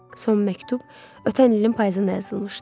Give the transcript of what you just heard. Son məktub ötən ilin payızında yazılmışdı.